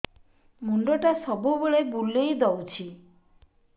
ମୁଣ୍ଡଟା ସବୁବେଳେ ବୁଲେଇ ଦଉଛି